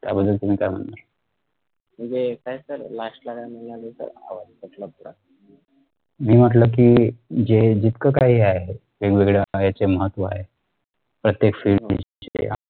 याबद्दल तुम्ही काय म्हणणार मी म्हटलं कि जे जितका काही आहे वेगवेगळ्या हे चे महत्व आहे तर ते FIELD